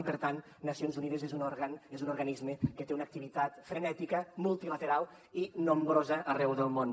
i per tant nacions unides és un òrgan és un organisme que té una activitat frenètica multilateral i nombrosa arreu del món